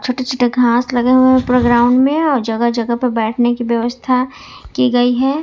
छोटे छोटे घास लगे हुए प्रोग्राम में और जगह जगह पे बैठने की व्यवस्था की गई है।